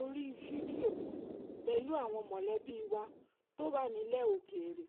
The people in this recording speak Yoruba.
orí fídíò pẹ̀lú àwọn mọ̀lẹ́bí wa tó wà nílẹ̀ òkèèrè